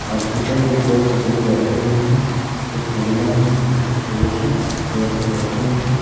Scooter में दो बुजुर्ग बैठे हुए हैं एक महिला है एक पुरुष है चेयर पे बैठे हुए हैं।